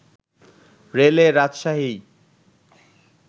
রেলে রাজশাহী